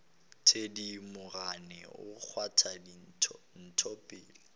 thedimogane o kgwatha ntho pelong